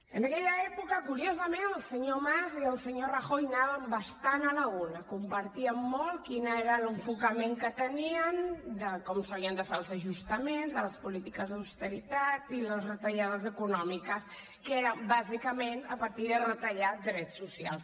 en aquella època curiosament el senyor mas i el senyor rajoy anaven bastant a la una compartien molt quin era l’enfocament que tenien de com s’havien de fer els ajustaments de les polítiques d’austeritat i les retallades econòmiques que eren bàsicament a partir de retallar drets socials